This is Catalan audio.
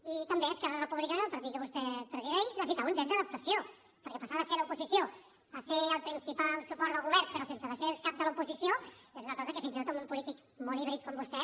i també esquerra republicana el partit que vostè presideix necessitava un temps d’adaptació perquè passar de ser l’oposició a ser el principal suport del govern però sense ser el cap de l’oposició és una cosa que fins i tot a un polític molt híbrid com vostè